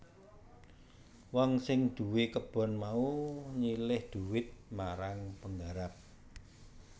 Wong sing duwé kebon mau nyilih dhuwit marang penggarap